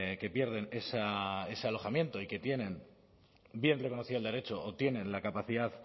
que pierden ese alojamiento y que tienen bien reconocido el derecho o tienen la capacidad